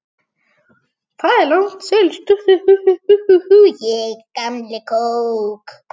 Þar er langt seilst.